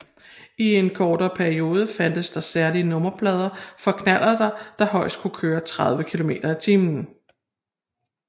I en kortere periode fandtes særlige nummerplader for knallerter der højst kunne køre 30 km i timen